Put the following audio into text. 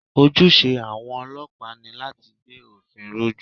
Ojúṣe àwọn ọlọ́pàá ni láti gbé òfin ró jù